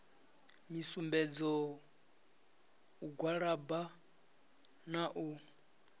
misumbedzo u gwalaba na u